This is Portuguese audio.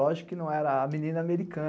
Lógico que não era a menina americana.